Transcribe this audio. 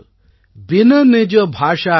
பின் நிஜ்பாஷாஞான் கே மிடத ந ஹிய கோ சூல்